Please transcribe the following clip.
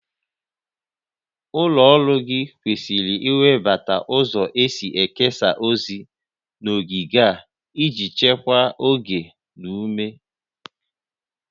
Ụlọ ọrụ gị kwesịrị iwebata ụzọ e si ekesa ozi n'oge a iji chekwaa oge na ume